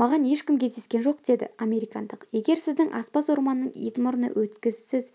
маған ешкім кездескен жоқ деді американдық егер сіздің аспаз орманның ит мұрны өткісіз